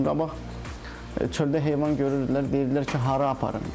Məsəl üçün, qabaq çöldə heyvan görürdülər, deyirdilər ki, hara aparım?